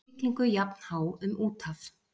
Á siglingu jafnhá um úthaf.